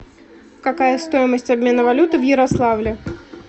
какая стоимость обмена валюты в ярославле